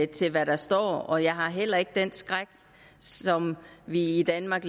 til hvad der står og jeg har heller ikke den skræk som vi i danmark